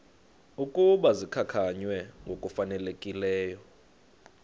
ukuba zikhankanywe ngokufanelekileyo